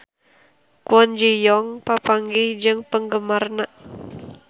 Kwon Ji Yong papanggih jeung penggemarna